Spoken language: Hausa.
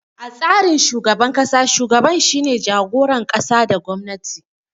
A tsarin shugaban ƙasa, shugaban shine jagoran ƙasa da gwamnati.